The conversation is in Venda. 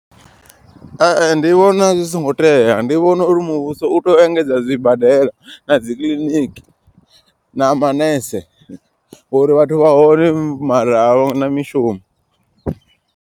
Ndi vhona zwi songo tea ndi vhona uri muvhuso u tea u engedza zwibadela na dzikiḽiniki na manese uri vhathu vha hone mara a vha na mishumo.